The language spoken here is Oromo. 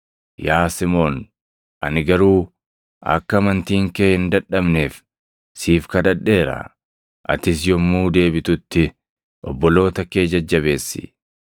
Yaa Simoon, ani garuu akka amantiin kee hin dadhabneef siif kadhadheera; atis yommuu deebitutti, obboloota kee jajjabeessi.”